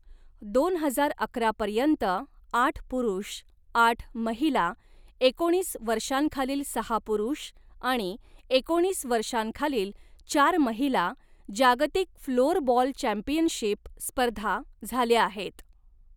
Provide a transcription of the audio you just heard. दोन हजार अकरा पर्यंत आठ पुरुष, आठ महिला, एकोणीस वर्षांखालील सहा पुरुष, आणि एकोणीस वर्षांखालील चार महिला जागतिक फ्लोअरबॉल चॅम्पियनशिप स्पर्धा झाल्या आहेत.